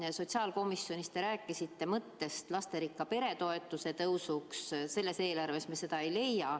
Ja sotsiaalkomisjonis te rääkisite mõttest tõsta lasterikka pere toetust, sellest eelarvest me seda ei leia.